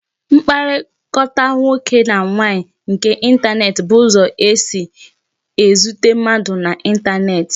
Mkpakọrịta nwoke na nwaanyị nke intaneti bụ ụzọ esi e zute mmadụ na intaneti